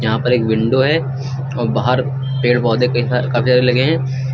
यहां पर एक विंडो है और बाहर पेड़ पौधे काफी सारे लगे हैं।